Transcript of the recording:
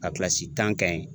A kilasi tan ye